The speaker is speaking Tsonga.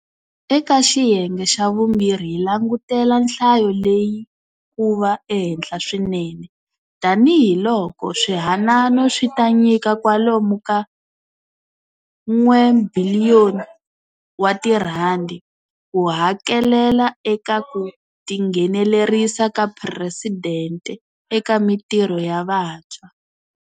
Eka xiyenge xa vumbirhi hi langutela nhlayo leyi ku va ehenhla swinene, tanihi loko swihanano swi ta nyika kwalomu ka R1 biliyoni ku hakelela eka ku Tinghenelerisa ka Presidente eka Mitirho ya Vantshwa.